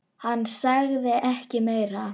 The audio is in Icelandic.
Hann sagði ekki meira.